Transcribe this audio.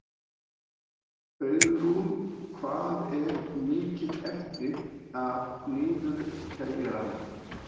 Auðrún, hvað er mikið eftir af niðurteljaranum?